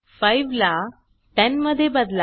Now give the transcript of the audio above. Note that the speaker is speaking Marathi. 5 ला 10 मध्ये बदला